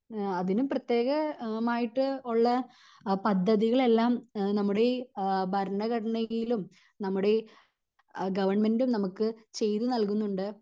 ഇഹ് അതിന് പ്രത്യേക മായിട്ട് ഉള്ള പദ്ധതികളെല്ലാം നമ്മുടെ ഈ എഹ് ഭരണഘടനയിലും നമ്മുടെ ഈ ഗവണ്മെന്റും നമുക്ക് ചെയ്ത് നൽകുന്നുണ്ട്